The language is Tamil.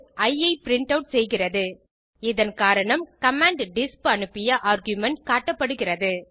இ ஐ பிரின்ட் ஆட் செய்கிறது இதன் காரணம் கமாண்ட் டிஸ்ப் அனுப்பிய ஆர்குமென்ட் காட்டப்படுகிறது